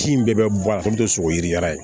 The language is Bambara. Kin in bɛɛ bɛ bɔ a sogo yiri